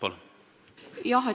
Palun!